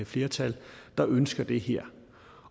flertal der ønsker det her